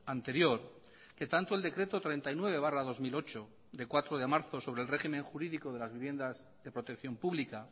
anterior que tanto el decreto treinta y nueve barra dos mil ocho de cuatro de marzo sobre el régimen jurídico de las viviendas de protección pública